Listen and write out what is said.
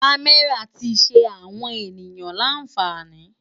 Kàmèrá ti ṣé áwòn éniyàn lànfáni